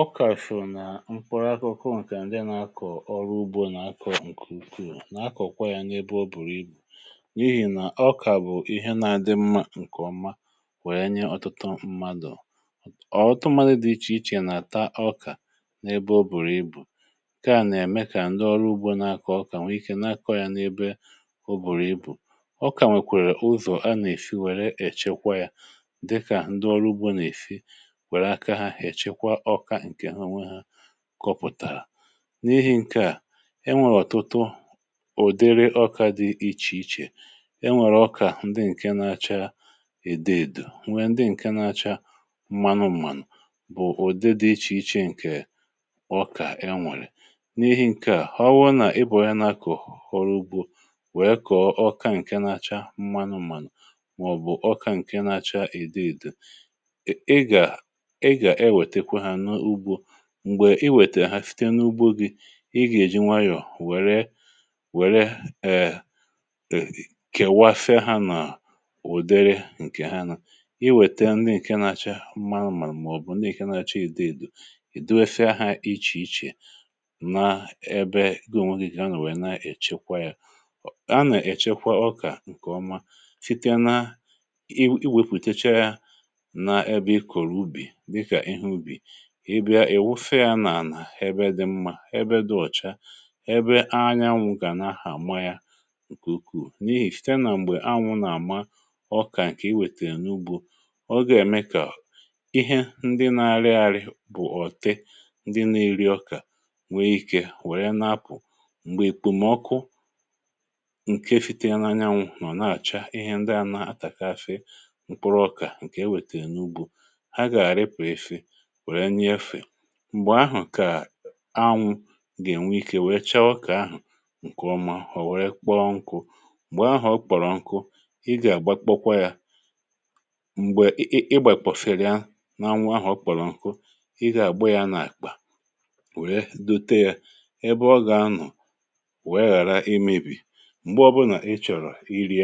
Ọkà sò nà mkpụrụ akụkụ, nke ndị nà-akọ̀ ọrụ ugbò nà-akọ̀ um bụ̀ nke ukwuù. A nà-akọ̀kwa ya n’ebe o bùrù ibù, n’ihi nà ọkà bụ̀ ihe na-adị mma nke ọma, kwèe nye ọtụtụ mmadụ. Ọ̀tụtụ mmadụ dị iche iche nà-ata ọkà n’ebe o bùrù ibù. Nke à nà-ème kà ndị ọrụ ugbò nà-akọ̀ ọkà, nwee ike na-akọ̀ ya n’ebe o bùrù ibù. Ọkà nwekwara ụzọ̀ a nà-èfi wèrè echekwa ya, dịkà ndị ọrụ ugbò nà-èfi hà kọpụ̀tàrà... N’ihi nke a, e nwèrè ọ̀tụtụ ụ̀dịrị ọkà dị iche iche e nwèrè ọkà ndị nke na-acha èdeèdè um nwekwara ndị nke na-acha mmanụ mmanụ. Ụ̀dị dị iche iche nke ọkà e nwèrè n’ihi nke a, ọ wụ nà ịbọ̀ ya na-akọ̀ hụrụ ugbò wèe kọọ ọkà nke na-acha mmanụ mmanụ, mà ọ̀ bụ̀ ọkà nke na-acha èdeèdè. Mgbe i wètè ha, fìtè n’ugbò gị, ị gà-èji nwayọ̀ wère wère um kewafịa ha n’ùdere nke ha. Ị wètè na-èke na-achị ha mma, màọ̀bụ̀ na-èke na-achọ ìdeèdo. Ị dọ̀we fịa ha iche iche, nà ebe ga-enyere gị ichekwa ọkà nke ọma. Fìtè nà i wepùtecha na ebe i kòrò ubì, um èwufè ya n’ànà ebe dị mma, ebe dị ọ̀cha, ebe anyanwụ̇ kà na-ahà àma ya nke ukwuù. N’ihi fute nà mgbe anyanwụ̇ nà-àma, ọkà nke iwètèrè n’ugbò, ọ gà-ème kà ihe ndị na-arị arị, bụ̀ ọ̀tị ndị na-eri ọkà, ghara ibata. Mgbe èkpùmọkụ, nke fute n’anyanwụ̇ nọ̀ na-àcha, ihe ndị à na-atàkafe... mkpụrụ ọkà nke e wètèrè n’ugbò. Mgbe ahụ̀ kà anwụ̇ gà-ènwe ike, um nwee chawọ ọkà ahụ̀ nke ọma. Mgbe ọ kpọrọ nkụ, ị gà-àgbakpọkwa ya. Mgbe ị gbàèkpọ̀sịrịà n’anwụ ahụ̀, ọ kpọrọ nkụ, ị gà-àgbọ ya n’àkpà, um nwèrè dute ya ebe ọ gà-anọ̀, ka ọ ghàra imebì. Mgbe ọbụnà ị chọ̀rọ̀ iri,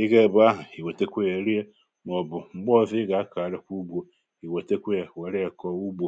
ị gà-ebè ahụ̀, ì wètekwa ya rie um màọ̀bụ̀ mgbe ọzọ, ị gà-akàrà ikwu ugbò, nke ọrụ kà ọ nà-eme elù, mà ọ̀zọ̀, nke ọrụ kà ọ nà-eme elù.